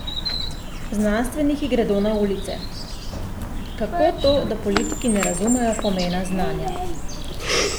Znanstveniki gredo na ulice: "Kako to, da politiki ne razumejo pomena znanja?